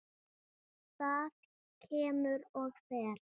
Það kemur og fer.